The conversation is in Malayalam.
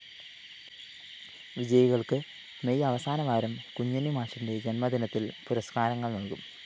വിജയികള്‍ക്ക് മെയ്‌ അവസാനവാരം കുഞ്ഞുണ്ണി മാഷിന്റെ ജന്മദിനത്തില്‍ പുരസ്‌കാരങ്ങള്‍ നല്‍കും